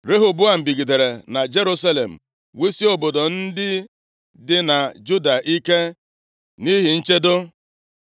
Rehoboam bigidere na Jerusalem wusie obodo ndị dị na Juda ike nʼihi nchedo.